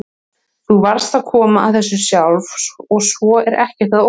Þú varðst að komast að þessu sjálf og svo er ekkert að óttast.